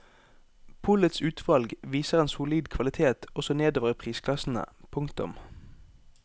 Polets utvalg viser en solid kvalitet også nedover i prisklassene. punktum